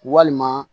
Walima